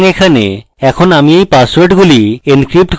এখন আমি এই পাসওয়ার্ডগুলি encrypt করতে চাই